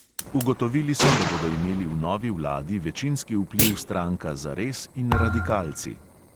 Ugotovili so, da bodo imeli v novi vladi večinski vpliv stranka zares in radikalci.